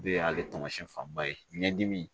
O de y'ale taamasiyɛn fanba ye ɲɛ dimi